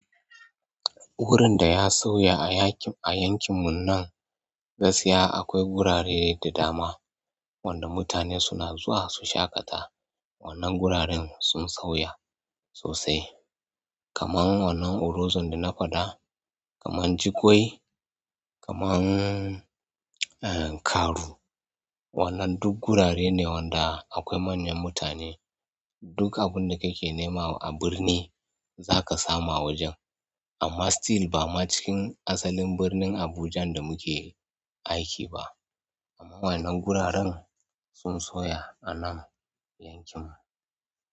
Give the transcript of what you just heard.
Wurin da ya sauya a yankin mu nan gaskiya akwai gurare da dama wanda mutane suna zuwa su shaƙata. Wannan guraren sun sauya sosai kamar wannan Orozon da na faɗa, kamar Jigoi, kaman Karu. Wannan duk gurare ne wanda akwai manyan mutane. Duk abinda kake nema a birni zaka samu a wajen amma still ba ma cikin asalin birnin Abuja da muke aiki ba. Amma wannan guraren sun soya a nan yankin mu.